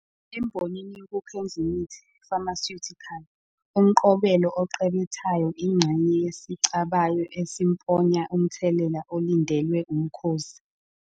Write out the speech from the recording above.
Embonini yokuKhendlimithi, pharmaceutical, umqobelo oqebethayo ingxenye yesicabayo esimponya umthelela olindelwe umkhozi.